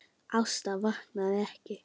Ásta vaknaði ekki.